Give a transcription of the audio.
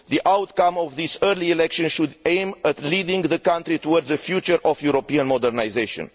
The outcome of this early election should aim to lead the country towards a future of European modernisation.